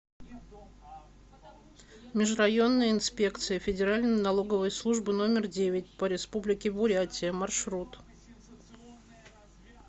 межрайонная инспекция федеральной налоговой службы номер девять по республике бурятия маршрут